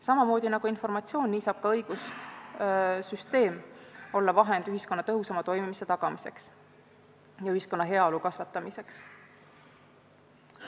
Samamoodi nagu informatsioon, nii saab ka õigussüsteem olla vahend ühiskonna tõhusama toimimise tagamiseks ja ühiskonna heaolu kasvatamiseks.